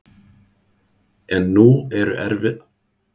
En nú eru aðrir tímar.